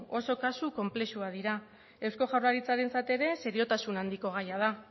oso kasu konplexuak dira eusko jaurlaritzarentzat ere seriotasun handiko gaia da